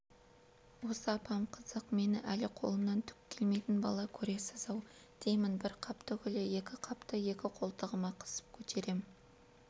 осы апам қызық мені әлі қолынан түк келмейтін бала көресіз-ау деймін бір қап түгілі екі қапты екі қолтығыма қысып көтерем